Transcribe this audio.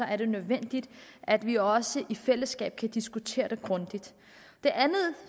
er det nødvendigt at vi også i fællesskab kan diskutere det grundigt det andet